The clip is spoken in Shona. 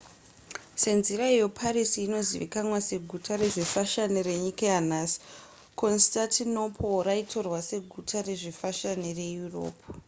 senzira iyo paris inozivikanwa seguta rezvefashani renyika yanhasi constantinople raitorwa seguta rezvefashani reeurope